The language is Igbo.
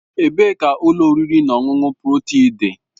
Ebee ka ụlọ oriri na ọṅụṅụ Protia dị?